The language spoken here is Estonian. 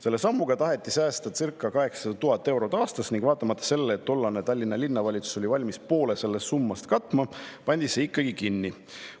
Selle sammuga taheti säästa circa 800 000 eurot aastas ning vaatamata sellele, et tollane Tallinna Linnavalitsus oli valmis poole sellest summast katma, pandi see komando ikkagi kinni.